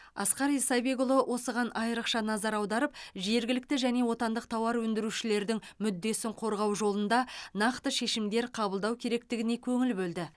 асқар исабекұлы осыған айрықша назар аударып жергілікті және отандық тауар өндірушілердің мүддесін қорғау жолында нақты шешімдер қабылдау керектігіне көңіл бөлді